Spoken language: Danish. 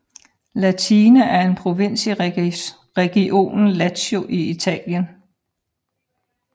Latina er en provins i regionen Lazio i Italien